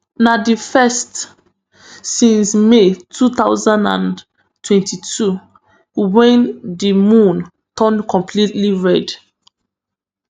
na di first since may two thousand and twenty-two wen di moon turn completely red